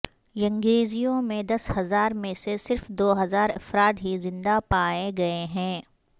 ینگزیو میں دس ہزار میں سے صرف دو ہزار افراد ہی زندہ پائے گئے ہیں